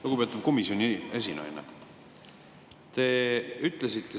Lugupeetud komisjoni esinaine!